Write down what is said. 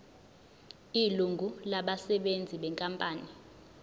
ilungu labasebenzi benkampani